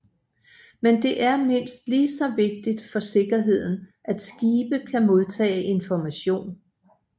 Men det er mindst ligeså vigtigt for sikkerheden at skibe kan modtage information